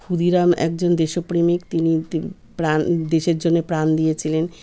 ক্ষুদিরাম একজন দেশপ্রেমিক তিনি তি প্রাণ দেশের জন্যে প্রাণ দিয়েছিলেন।